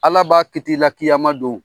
Ala b'a kit'ila kiyama don